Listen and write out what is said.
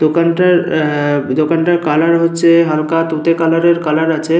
দোকানটার আ দোকানটার কালার হচ্ছে হালকা তুতে কালারের কালার আছে।